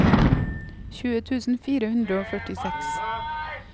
tjue tusen fire hundre og førtiseks